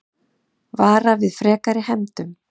Vara við frekari hefndum